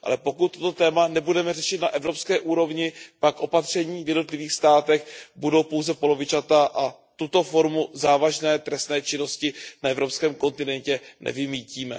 Ale pokud toto téma nebudeme řešit na evropské úrovni, pak opatření v jednotlivých státech budou pouze polovičatá a tuto formu závažné trestné činnosti na evropském kontinentu nevymýtíme.